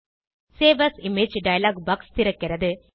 save as image dialog box திறக்கிறது